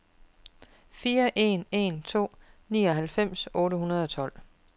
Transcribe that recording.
fire en en to nioghalvfems otte hundrede og tolv